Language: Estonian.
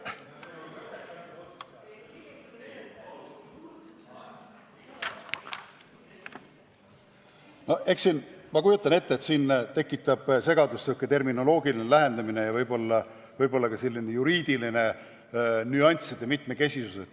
No eks siin, ma kujutan ette, tekitab segadust terminoloogiline lähenemine ja võib-olla ka juriidiliste nüansside mitmekesisus.